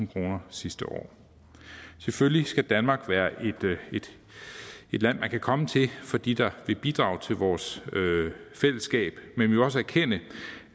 kroner sidste år selvfølgelig skal danmark være et land man kan komme til for de der vil bidrage til vores fællesskab men vi må også erkende